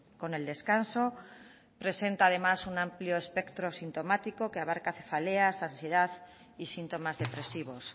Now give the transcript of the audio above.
con el descanso presenta además un amplio espectro sintomático que abarca cefaleas ansiedad y síntomas depresivos